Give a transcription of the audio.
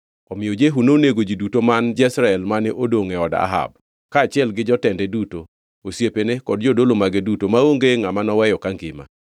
Omiyo Jehu nonego ji duto man Jezreel mane odongʼ e od Ahab, kaachiel gi jotende duto, osiepene kod jodolo mage duto, maonge ngʼama noweyo kangima.